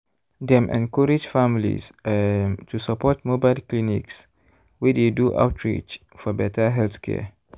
dem encourage families um to support mobile clinics wey dey do outreach for better healthcare.